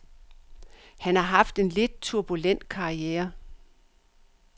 Han har haft en lidt turbulent karriere.